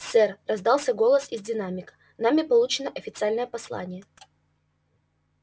сэр раздался голос из динамика нами получено официальное послание